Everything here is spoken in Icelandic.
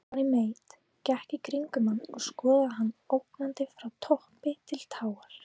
Johnny Mate gekk í kringum hann og skoðaði hann ógnandi frá toppi til táar.